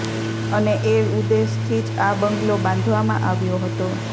અને એ ઉદ્દેશથી જ આ બંગલો બાંધવામાં આવ્યો હતો